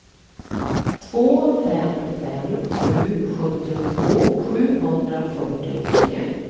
två fem fem sju sjuttiotvå sjuhundrafyrtiotre